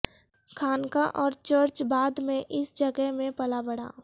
خانقاہ اور چرچ بعد میں اس جگہ میں پلا بڑھا